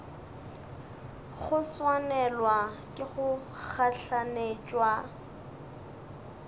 go swanelwa ke go gahlanetšwa